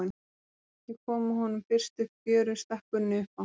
Eigum við ekki að koma honum fyrst upp í fjöru, stakk Gunni upp á.